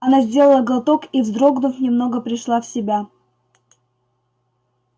она сделала глоток и вздрогнув немного пришла в себя